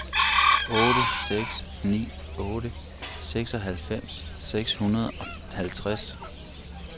otte seks ni otte seksoghalvfems seks hundrede og halvtreds